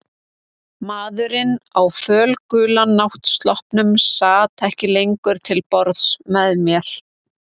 Maðurinn á fölgula náttsloppnum sat ekki lengur til borðs með mér.